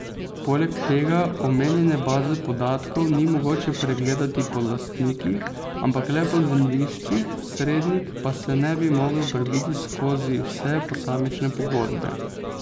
Poleg tega omenjene baze podatkov ni mogoče pregledati po lastnikih, ampak le po zemljiščih, Srednik pa se ne bi mogel prebiti skozi vse posamične pogodbe.